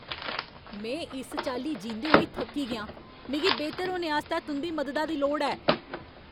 में इस चाल्ली जींदे होई थक्की गेआं! मिगी बेहतर होने आस्तै तुं'दी मददा दी लोड़ ऐ!